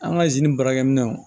An ka baarakɛminɛnw